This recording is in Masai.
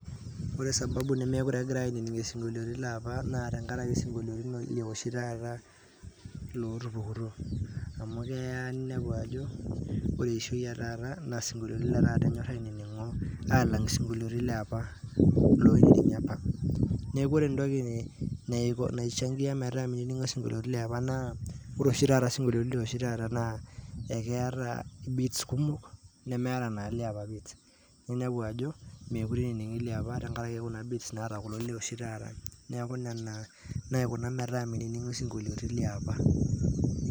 Ore sababu nemekure egira ainining' isinkoliotin leapa naa tengaraki sinkoliotin le oshi taata lootupukutuo. Amu keaa ninepu ajo kore eishoi etaata naa sinkoliotin letaata enyorr ainining'o aalang' sinkoliotin leapa loinining'i apa. Neaku kore entoki neiko naishangia metaa naa ore oshi sinkoliotin looshi taata naa ekeata bits kumok nemeata naa liapa bits. Ninepu ajo mekure ening'i liapa tengaraki naa bits naata leoshi taata neaku nena naaikuna metaa meinining'i sinkoliotin leapa.